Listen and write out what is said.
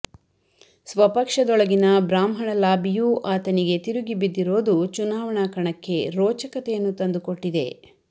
ಸ್ವಪಕ್ಷದೊಳಗಿನ ಬ್ರಾಹ್ಮಣ ಲಾಬಿಯೂ ಆತನಿಗೆ ತಿರುಗಿ ಬಿದ್ದಿರೋದು ಚುನಾವಣಾ ಕಣಕ್ಕೆ ರೋಚಕತೆಯನ್ನು ತಂದುಕೊಟ್ಟಿದೆ